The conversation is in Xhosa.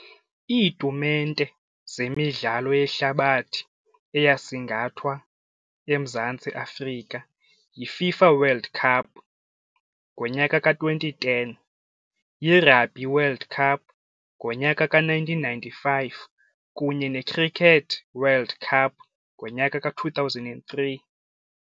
Iitumente zemidlalo yehlabathi eyasingathwa eMzantsi Afrika yiFIFA World Cup ngonyaka ka-twenty ten, yi-Rugby World Cup ngonyaka ka-nineteen ninety-five kunye ne-Cricket World Cup ngonyaka ka-two thousand and three.